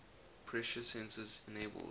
pressure sensors enabled